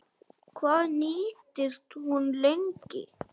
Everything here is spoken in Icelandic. Hvað nýtist hún lengi?